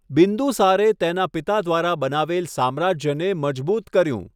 બિંદુસારે તેના પિતા દ્વારા બનાવેલ સામ્રાજ્યને મજબૂત કર્યું.